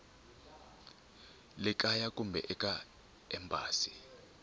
le kaya kumbe eka embasi